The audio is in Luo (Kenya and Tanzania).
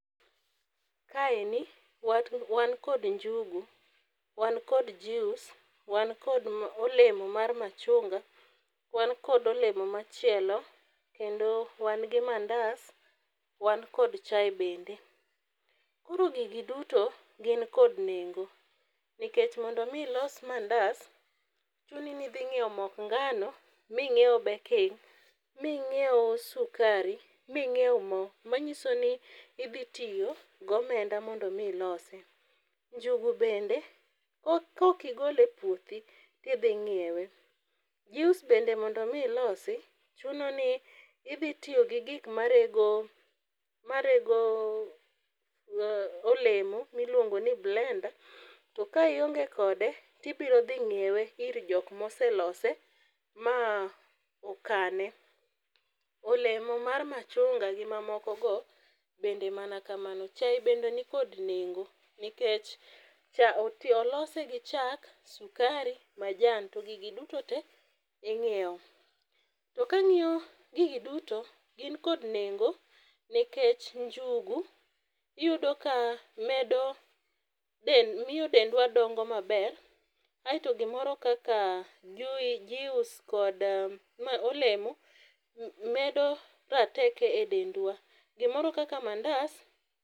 Kaeni wan kod njugu, wan kod juice, wan kod olemo mar machunga, wan kod olemo machielo kendo wan gi mandas, wan kod chaye bende. Koro gigi duto gin kod nengo nikech mondo omi ilos mandas, chuni ni idhi nyiewo mok ng'ano, ming'iew baking, ming'iew sukari, ming'iew mo, manyiso ni idhi tiyo gomenda mondo omi ilosi. Njugu bende kok igole e puothi, tidhi ng'iewe. Juice bende mondo omi ilosi, chuno ni idhi tiyo gi gik marego olemo miluongoni blender to ka ionge kode, tibiro dhi ng'iewe ir jok moselose, ma okane . Olemo mar machunga gi mamoko bende mana kamano. Chaye bende nikod nengo nikech olose gi chak, sukari ,majan to gigi dutote, ing'iewo. To kang'iyo gigi duto, gin kod nengo nikech njugu iyudo ka miyo dendwa dongo maber, aeto gimoro kaka juice kod olemo medo rateko e dendwa. Gimoro kaka mandas